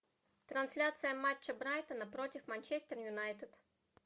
трансляция матча брайтона против манчестер юнайтед